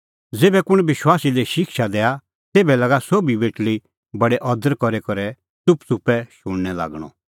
ज़ेभै कुंण विश्वासी लै शिक्षा दैआ तेभै लागा सोभी बेटल़ी बडै अदर करी करै च़ुपच़ुपै शूणैं लागणअ